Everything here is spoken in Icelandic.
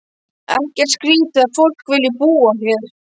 Ekkert skrítið að fólk vilji búa hér.